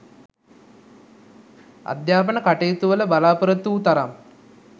අධ්‍යාපන කටයුතුවල බලා‍පොරොත්තු වූ තරම්